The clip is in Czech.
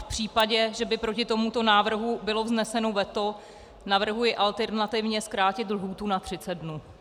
V případě, že by proti tomuto návrhu bylo vzneseno veto, navrhuji alternativně zkrátit lhůtu na 30 dnů.